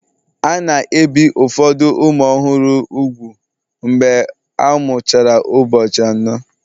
A na-ebi ụfọdụ ụmụ ọhụrụ úgwù mgbe a mụchara ụbọchị anọ